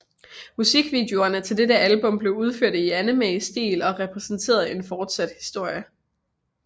Musikvideoerne til dette album blev udført i animestil og repræsenterede en fortsat historie